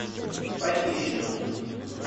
похищенная